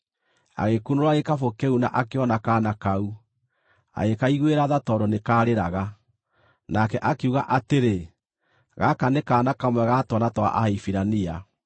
Agĩkunũra gĩkabũ kĩu na akĩona kaana kau. Agĩkaiguĩra tha tondũ nĩkarĩraga. Nake akiuga atĩrĩ, “Gaka nĩ kaana kamwe ga twana twa Ahibirania.”